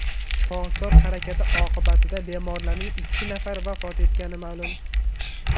Shifokor harakati oqibatida bemorlarning ikki nafari vafot etgani ma’lum.